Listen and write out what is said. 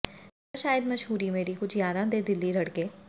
ਜਾ ਸ਼ਾਇਦ ਮਸ਼ਹੂਰੀ ਮੇਰੀ ਕੁਝ ਯਾਰਾਂ ਦੇ ਦਿਲੀ ਰੜਕੇ